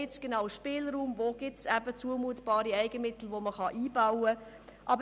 sie kennen die Situation am besten und führen die jährlichen Verhandlungen.